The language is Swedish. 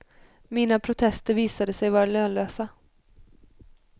Mina protester visade sig vara lönlösa.